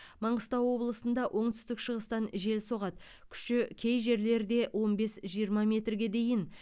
маңғыстау облысында оңтүстік шығыстан жел соғады күші кей жерлерде он бес жиырма метрге дейін